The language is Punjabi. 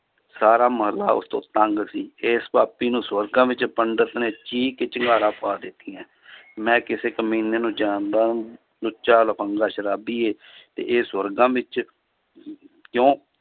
ਸਾਰਾ ਮੁਹੱਲਾ ਉਸ ਤੋਂ ਤੰਗ ਸੀ ਇਸ ਪਾਪੀ ਨੂੰ ਸਵਰਗਾਂ ਵਿੱਚ ਪੰਡਿਤ ਨੇ ਚੀਖ ਚਿਹਾੜਾ ਪਾ ਦਿੱਤੀਆਂ ਮੈਂ ਕਿਸੇ ਕਮੀਨੇ ਨੂੰ ਜਾਣਦਾ, ਲੁੱਚਾ, ਲਫੰਗਾ ਸ਼ਰਾਬੀ ਹੈ ਤੇ ਇਹ ਸਵਰਗਾਂ ਵਿੱਚ ਕਿਉਂ